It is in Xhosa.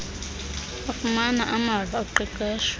bafumana amava oqeqesho